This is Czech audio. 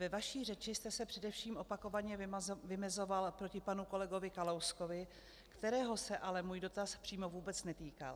Ve své řeči jste se především opakovaně vymezoval proti panu kolegovi Kalouskovi, kterého se ale můj dotaz přímo vůbec netýkal.